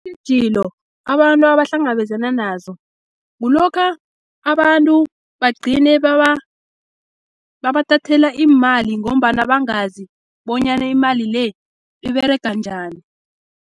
Iintjhijilo abantu abahlangabezana nazo, kulokha abantu bagcine babathathela iimali, ngombana bangazi bonyana imali le, iberega njani.